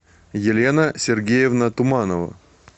елена сергеевна туманова